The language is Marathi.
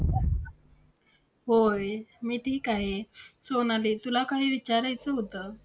होय, मी ठीक आहे. सोनाली तुला काही विचारायचं होतं.